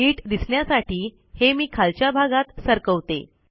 नीट दिसण्यासाठी हे मी खालच्या भागात सरकवते